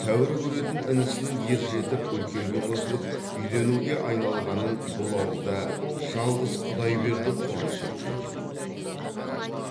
тәуір көретін інісінің ержетіп үлкенге қосылып үйленуге айналғанын бұл ауылда жалғыз құдайберді қуаныш еткендей